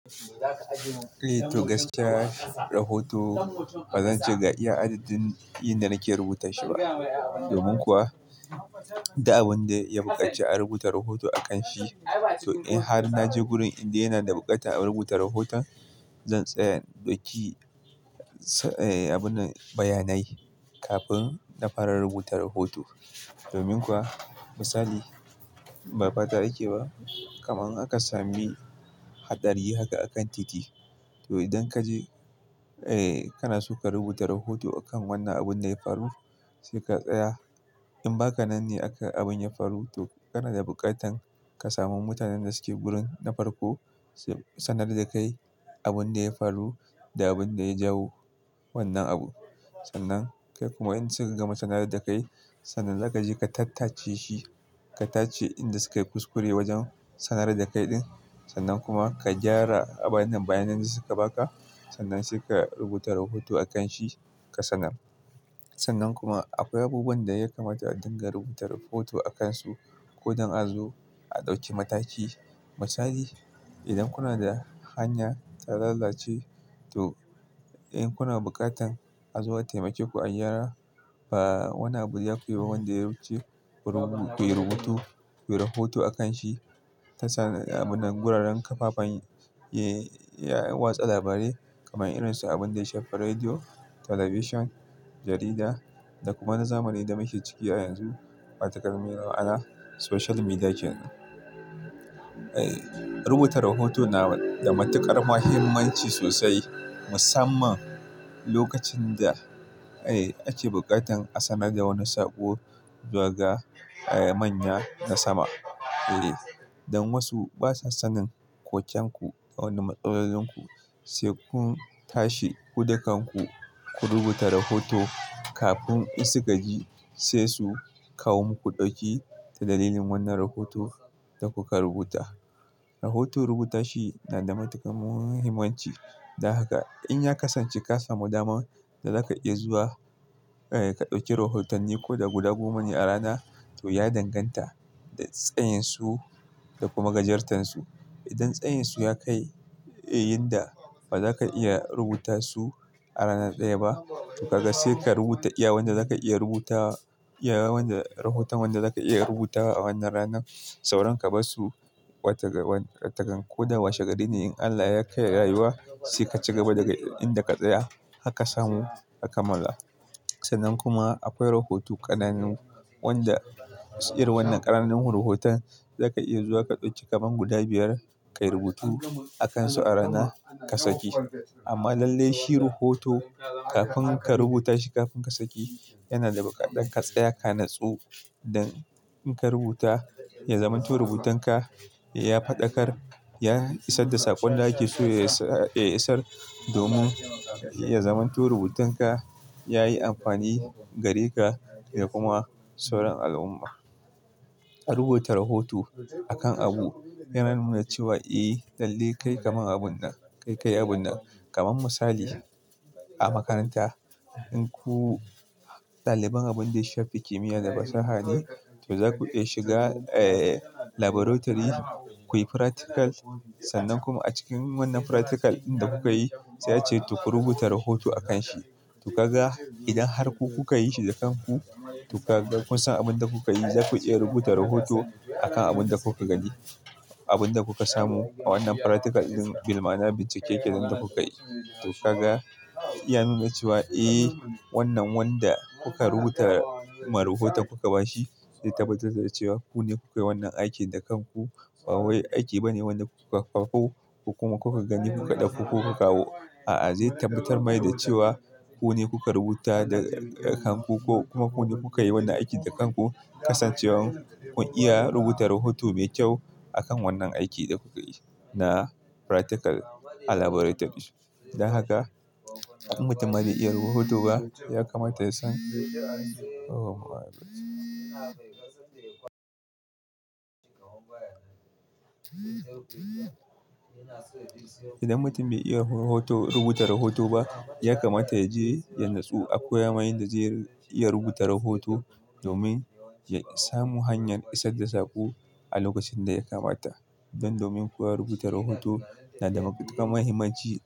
Eh to gaskiya, rahoto bazan ce ga iya adadin yinda nake rubuta shi ba. Domin kuwa, duk abin da ya buƙaci a rubuta rahoto a kan shi. To in har naje gurin indai yana da buƙatar a rubuta rahoto, zan tsaya in dauki, eh abunnan bayyanai kafin na fara rubuta rahoto. Domin kuwa misali ba fata ake ba, kamar akasami hadari haka a kan titi. To idan kaje, eh kana so ka rubuta rahoto akan wannan abun da ya faru sai ka tsaya. In ba ka nan ne abin da ya faru, to kana da buƙatan ka samu mutanen da suke gurin na farko, sanar da kai abin da ya faru da abin da ya jawo wannan abu. Sannan kai kuma in suka gama sanar da kai, sannan za ka je ka tattache shi. Ka tace inda sukai kuskure wajen sanar da kai ɗin. Sannan kuma ka gyara abinnan bayanan da suka baka. Sannan sai ka rubuta rahoto akan shi, ka sanar. Sannan kuma akwai abubuwan da ya kamata a dinga rubuta rahoto a kansu. Ko don a zo a ɗauki mataki. Misali idan kuna da hanya ta lalace to in kuna buƙatan a zo a taimake ku a gyara, ba wani abu ya fi ba wanda ya wuce ku rubu-- kuyi rubutu, kuyi rahoto akan shi. Tasa abinnan guraren kafafen, eh watsa labarai kamar irin su abun da ya shafi radio, television, jarida da kuma na zamani da mashi ciki a yanzu, watakan me maana social media kenan. Eh rubuta rahoto na da matuƙar mahimmanci sosai. Musamman lokacin da, eh ake buƙatan a sanar da wani sako zuwa ga, eh manya na sama. Eh dan wasu basa sanin ƙokenku da wani matsalar ku, sai kun tashi ku dakanku, ku rubuta rahoto kafin in suka gaji sai su kawo muku ɗauki ta dalilin wannan rahoton da kuka rubuta. Rahoto rubuta shi na da matuƙar muhimmanci. Don haka in ya kasance ka samu daman da zaka iya zuwa, eh ka ɗauki rahotanni ko guda goma ne a rana to ya danganta da tsayin su da kuma gajartan su. Idan tsayin su ya kai, eh inda bazaka iya rubuta su a rana ɗaya ba to kaga sai ka rubuta iya wanda zaka iya rubutawa, iya wanda rahoton wanda zaka iya rubutawa a wannan ranar. Sauran ka bassu watan-- wata ko koda washe gari ne in Allah ya kai rayuwa sai ka cigaba daga inda ka tsaya. Haka samu haka mallaa. Sannan kuma akwai rahoto ƙananu wanda irin wannan ƙananun rahoton zaka iya zuwa ka ɗauki kaban guda biyar kai rubutu a kansu a rana ka saki. Amma lalle shi rahoto kafin ka rubuta shi kafin ka saki yana da buƙatar ka tsaya ka natsu don in ka rubuta ya zamanto rubutan ka ya faɗakar, ya isar da sakon da ake so ya isa. Domin ya zamanto rubutan ka ya yi amfani gare ka da kuma sauran al'umma. A rubuta rahoto a kan abu yana nuna cewa eh lalle kai kamar abun nan, kai kai abun nan. Kaman misali a makaranta in ku ɗaliban abin da ya shafi kimiyya da fasaha ne to zaku iya shiga, eh laboratory kuyi practical. Sannan kuma a cikin wannan practical in da kuka yi sai ace toh ku rubuta rahoto a kan shi. To kaga idan har ku kuka yi shi da kanku to kaga kun san abin da kuka yi. Zaku iya rubuta rahoto a kan abin da kuka gani, abin da kuka samu a wannan practical din. Bil'maana bincike kenan da kuka yi. To kaga ya nuna cewa eh wannan wanda kuka rubuta ma rahotan kuka ba shi zai tabbatar da cewa ku ne kuka yi wannan aikin da kanku. Ba wai aiki ba ne wanda kuka faffo ku kuma kuka gani kuka ɗauko kuka kawo. A'a zai tabbatar mai da cewa ku ne kuka rubuta da kanku ko kuma ku ne kuka yi wannan aikin da kanku. Kasancewar kun iya rubuta rahoto mai kyau a kan wannan aikin da kuka yi na practical a laboratory. Dan haka in mutum bai iya rubuta rahoto ba ya kamata ya san idan mutum bai iya rahoto-- rubuta rahoto ba, ya kamata ya je ya natsu akoya mai yanda zai iya rubuta rahoto domin ya samu hanyar isar da sako a lokacin da ya kamata. Don domin kuwa rubuta rahoto na da matuƙar mahimmanci.